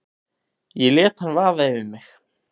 Ég lét hann vaða yfir mig.